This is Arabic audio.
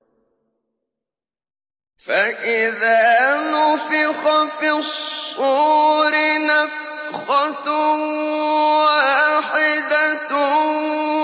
فَإِذَا نُفِخَ فِي الصُّورِ نَفْخَةٌ وَاحِدَةٌ